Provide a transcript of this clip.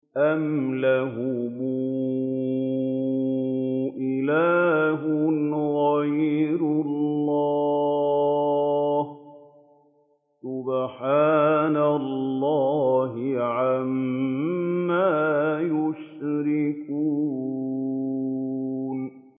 أَمْ لَهُمْ إِلَٰهٌ غَيْرُ اللَّهِ ۚ سُبْحَانَ اللَّهِ عَمَّا يُشْرِكُونَ